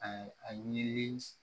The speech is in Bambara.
A a ɲinilen